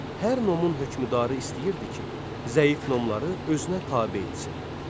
Hər nomun hökmdarı istəyirdi ki, zəif nomları özünə tabe etsin.